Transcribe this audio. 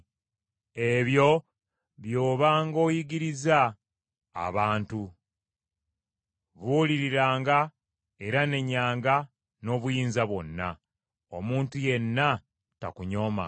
Ebyo by’obanga oyigiriza abantu. Buuliriranga era nenyanga n’obuyinza bwonna. Omuntu yenna takunyoomanga.